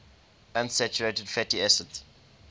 unsaturated fatty acids